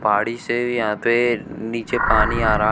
पहाड़ी से भी यहां पे नीचे पानी आ रहा--